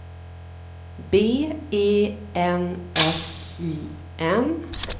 B E N S I N